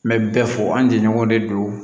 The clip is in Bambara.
N bɛ bɛɛ fɔ an jɛɲɔgɔn de don